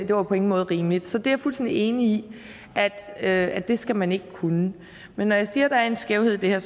det var på ingen måde rimeligt så er fuldstændig enig i at at det skal man ikke kunne men når jeg siger at der er en skævhed i det her